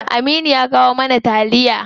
Aminu ya kawo mana taliya.